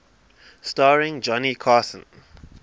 starring johnny carson